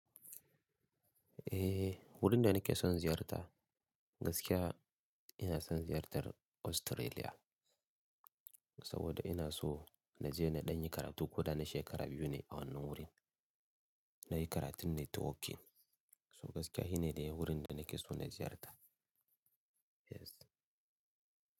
Eh, wurin da nake son ziyarta gaskiya ina son ziyartar Australia saboda ina so na je na ɗanyi karatu. Koda na shekara biyu ne a wannan wurin na yi karatun networking. So gaskiya shi ne wurin da nake so na ziyarta. Yes.